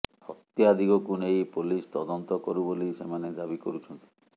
ହତ୍ୟା ଦିଗକୁ ନେଇ ପୋଲିସ ତଦନ୍ତ କରୁ ବୋଲି ସେମାନେ ଦାବି କରୁଛନ୍ତି